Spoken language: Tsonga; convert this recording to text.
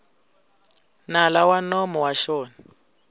nala wa nomo wa xona